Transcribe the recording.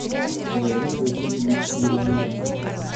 леонид васильевич еремеенков